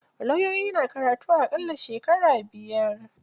Lauyoyi na karatun a ƙalla shekara biyar.